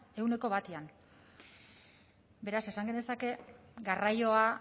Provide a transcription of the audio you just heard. ehuneko batean beraz esan genezake garraioa